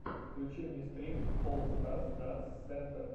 включи мне стрим олл старс данс сентр